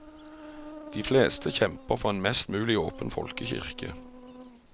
De fleste kjemper for en mest mulig åpen folkekirke.